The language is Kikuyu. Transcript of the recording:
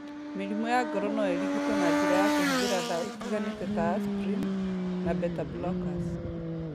Mĩrimũ ya ngoro no ĩrigitwo na njĩra ya kũhũthĩra ndawa itiganĩte ta aspirin na beta-blockers.